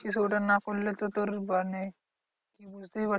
কিছু ওটা না করলে তো তোর মানে বুঝতেই পারছিস